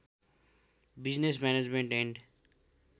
business management and